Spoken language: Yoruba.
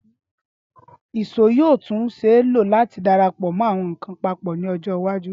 ìṣó yoo tun ṣee lo lati darapo awọn nkan papọ ni ọjọ iwaju.